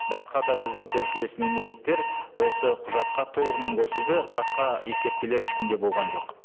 басқа да біздің көршілес мемлекеттер осы құжатқа толығымен қосылды басқа ескертпелер ешкімде болған жоқ